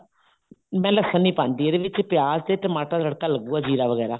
ਮੈਂ ਲਸਣ ਨੀ ਪਾਉਂਦੀ ਇਹਦੇ ਵਿੱਚ ਪਿਆਜ ਤੇ ਟਮਾਟਰ ਦਾ ਤੜਕਾ ਲੱਗੂਗਾ ਜ਼ੀਰਾ ਵਗੈਰਾ